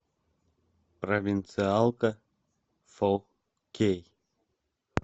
провинциалка фо кей